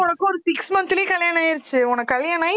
எனக்கும் உனக்கும் ஒரு six month லயே கல்யாணம் ஆயிருச்சு உனக்கு கல்யாணம் ஆயி